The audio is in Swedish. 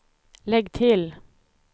lägg till